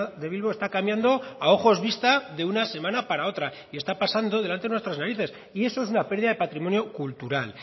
de bilbo está cambiando a ojos vista de una semana para otra y está pasando delante de nuestras narices y eso es una pérdida de patrimonio cultural